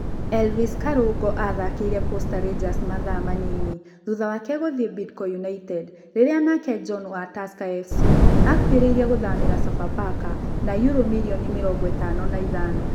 Elvis Karũngo athakĩire Posta Rangers mathaa manini thutha wake gũthie Bidco United rĩrĩa nake John wa Tusker FC akuhĩrĩirie gũthamĩra SofaPaka na yurũ mirioni mĩrongo ĩtano na ithano